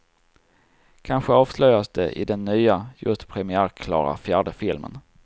Kanske avslöjas det i den nya, just premiärklara fjärde filmen.